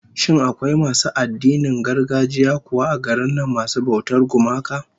Shin akwai masu addinan gargajiya kuwa a garin nan masu bautar gumaka?